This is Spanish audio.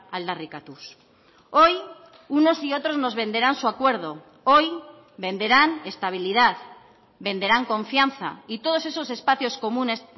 aldarrikatuz hoy unos y otros nos venderán su acuerdo hoy venderán estabilidad venderán confianza y todos esos espacios comunes